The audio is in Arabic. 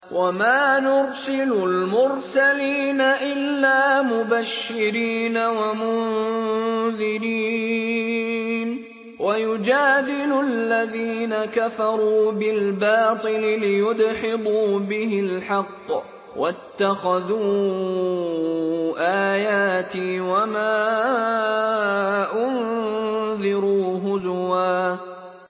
وَمَا نُرْسِلُ الْمُرْسَلِينَ إِلَّا مُبَشِّرِينَ وَمُنذِرِينَ ۚ وَيُجَادِلُ الَّذِينَ كَفَرُوا بِالْبَاطِلِ لِيُدْحِضُوا بِهِ الْحَقَّ ۖ وَاتَّخَذُوا آيَاتِي وَمَا أُنذِرُوا هُزُوًا